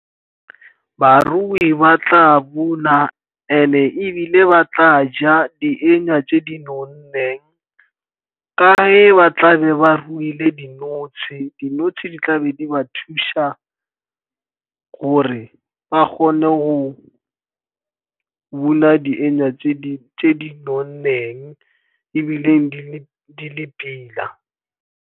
Barui ba tla bona, and-e ebile ba tla ja dikenywa tse di nonneng. Ka ge ba tla be ba ruile dinotshe. Dinotshe di tla be di ba thusa gore ba kgone go bona dikenywa tse di nonneng, ebile di le pila.